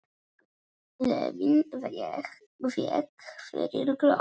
Gleðin vék fyrir glotti.